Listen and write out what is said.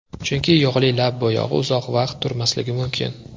Chunki yog‘li lab bo‘yog‘i uzoq vaqt turmasligi mumkin.